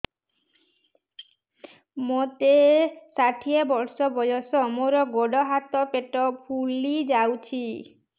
ମୋତେ ଷାଠିଏ ବର୍ଷ ବୟସ ମୋର ଗୋଡୋ ହାତ ପେଟ ଫୁଲି ଯାଉଛି